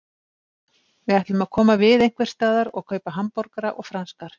Við ætlum að koma við einhversstaðar og kaupa hamborgara og franskar.